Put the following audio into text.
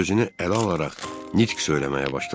Özünü ələ alaraq nitq söyləməyə başladı.